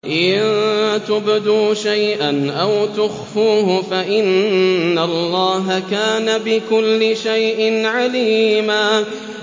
إِن تُبْدُوا شَيْئًا أَوْ تُخْفُوهُ فَإِنَّ اللَّهَ كَانَ بِكُلِّ شَيْءٍ عَلِيمًا